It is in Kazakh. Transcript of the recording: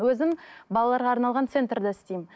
өзім балаларға арналған центрда істеймін